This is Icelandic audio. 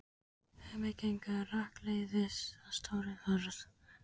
Hemmi gengur rakleiðis að stórri hurð.